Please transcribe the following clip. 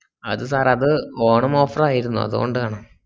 അത് sir അത് Onam offer ആയിരുന്നു അതോണ്ടാണ്